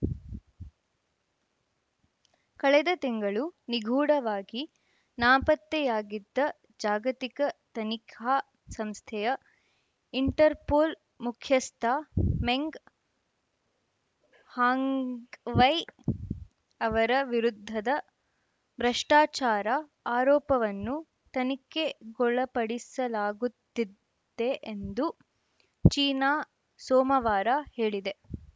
ಕಳೆದ ತಿಂಗಳು ನಿಗೂಢವಾಗಿ ನಾಪತ್ತೆಯಾಗಿದ್ದ ಜಾಗತಿಕ ತನಿಖಾ ಸಂಸ್ಥೆಯ ಇಂಟರ್‌ಪೋಲ್‌ ಮುಖ್ಯಸ್ಥ ಮೆಂಗ್‌ ಹಾಂಗ್‌ವೈ ಅವರ ವಿರುದ್ಧದ ಭ್ರಷ್ಟಾಚಾರ ಆರೋಪವನ್ನು ತನಿಖೆಗೊಳಪಡಿಸಲಾಗುತ್ತಿದೆ ಎಂದು ಚೀನಾ ಸೋಮವಾರ ಹೇಳಿದೆ